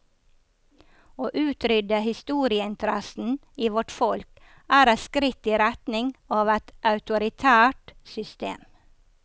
Å utrydde historieinteressen i vårt folk er et skritt i retning av et autoritært system.